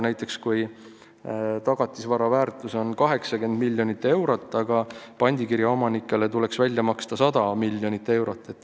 Näiteks võib tagatisvara väärtus olla 80 miljonit eurot, aga pandikirja omanikele tuleks välja maksta 100 miljonit eurot.